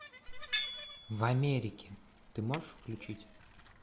в америке ты можешь включить